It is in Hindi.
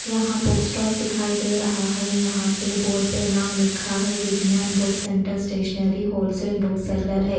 यहाँ बुक स्टॉल दिखाई दे रहा है यहाँ पे बोर्ड पे नाम लिखा है Vigyan book centre stationery wholesaler book seller है।